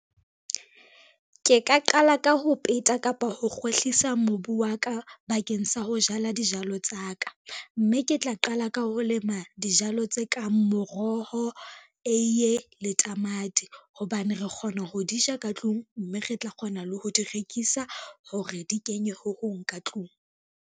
Ke ka qala ka ho peta kapa ho kgwehlisa mobu wa ka bakeng sa ho jala dijalo tsa ka, mme ke tla qala ka ho lema dijalo tse kang moroho, eiye le tamati, hobane re kgona ho di ja ka tlung, mme re tla kgona le ho di rekisa hore di kenye ho hong ka tlung.